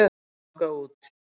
Þau ganga út.